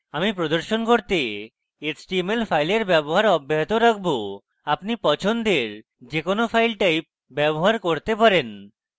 আমি প্রদর্শন করতে html files ব্যবহার অব্যাহত রাখবো আপনি পছন্দের যে কোনো files type ব্যবহার করতে পারেন